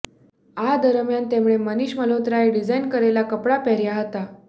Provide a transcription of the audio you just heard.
આ દરમિયાન તેમણે મનીષ મલ્હોત્રાએ ડિઝાઈન કરેલા કપડા પહેર્યા હતા